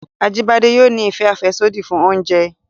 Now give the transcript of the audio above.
Ajíbádé yóò ni ìfẹ àfẹ́sódì fún oúnjẹ